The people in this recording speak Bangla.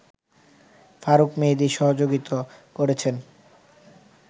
ফারুক মেহেদী সহযোগিতা করেছেন